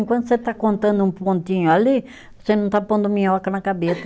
Enquanto você está contando um pontinho ali, você não está pondo minhoca na cabeça.